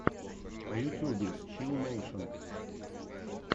в ютьюбе чилл нэйшен